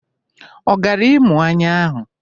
Ọ gara ịmụ anya ahụ?